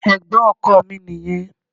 Ẹ̀gbọ́n ọkọ mi nìyẹn.